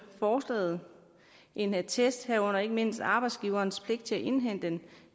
forslaget en attest herunder ikke mindst arbejdsgiverens pligt til at indhente den